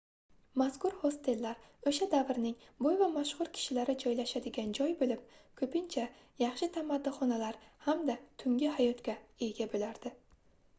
mazkur hostellar oʻsha davrning boy va mashhur kishilari joylashadigan joy boʻlib koʻpincha yaxshi tamaddixonalar hamda tungi hayotga ega boʻlardi